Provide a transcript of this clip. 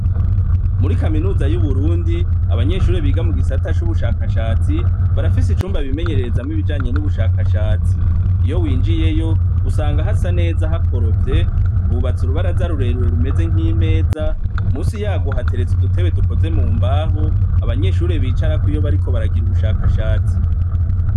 Muri Kaminuza y'Uburundi, abanyeshure biga mu gisata c'ubushakashatsi, barafise icumba bimenyererezamwo ibijanye n'ubushakashatsi. Iyo winjiyeyo, usanga hasa neza hakorofye. Hubatse urubaraza rurerure rumeze nk'imeza, munsi yarwo hateretse udutebe dukozwe mu mbaho, abanyeshure bicarako iyo bariko baragira ubushakashatsi.